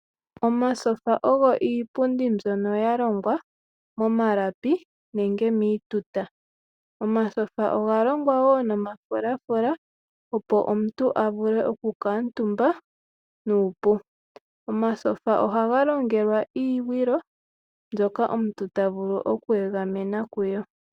Omasofa ogo iipundi mbyoka ya longwa momalapi nenge miituta. Omasoga oga longwa woo noma fulafula opo omuntu a vule okuu kala omutumba nuupu. Omasofa oha ga longelwa iigwilo mbyoka omuntu ta vulu oku egamena kuyo.